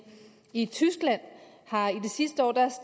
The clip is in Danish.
i tyskland